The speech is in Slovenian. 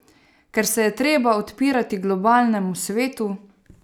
Ker se je treba odpirati globalnemu svetu?